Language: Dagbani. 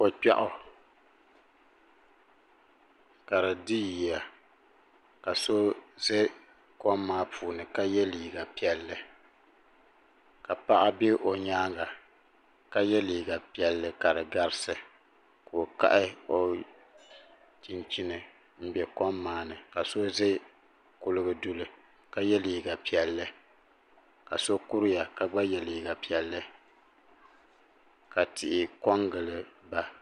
ko kpiaw ka di di yiya ka so ʒɛ kom maa puuni ka yɛ liiga piɛlli ka paɣa bɛ o nyaanga ka yɛ liiga piɛlli ka di garisi ka o kahi o chinchin n bɛ kom maa ni ka so ʒɛ kuligu duli ka yɛ liiga piɛlli ka so kuriya ka gba yɛ liiga piɛlli